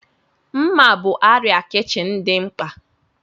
Mma bụ arịa kichin dị mkpa.